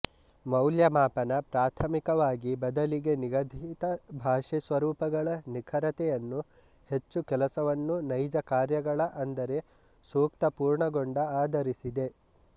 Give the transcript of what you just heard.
ಮೌಲ್ಯಮಾಪನ ಪ್ರಾಥಮಿಕವಾಗಿ ಬದಲಿಗೆ ನಿಗದಿತ ಭಾಷೆ ಸ್ವರೂಪಗಳ ನಿಖರತೆಯನ್ನು ಹೆಚ್ಚು ಕೆಲಸವನ್ನು ನೈಜ ಕಾರ್ಯಗಳ ಅಂದರೆ ಸೂಕ್ತ ಪೂರ್ಣಗೊಂಡ ಆಧರಿಸಿದೆ